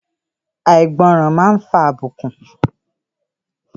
Àìgbọràn máa ń fa àbùkù.